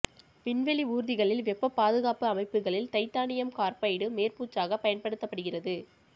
விண்வெளி ஊர்திகளில் வெப்பப் பாதுகாப்பு அமைப்புகளில் தைட்டானியம் கார்பைடு மேற்பூச்சாகப் பயன்படுத்தப்படுகிறது